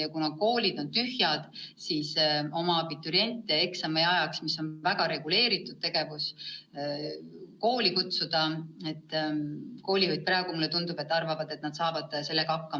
Ja kuna koolid on tühjad, siis koolijuhid minu meelest arvavad, et nad saavad sellega hakkama, et kutsuvad abituriendid eksami tegemiseks, mis on väga reguleeritud tegevus, kooli.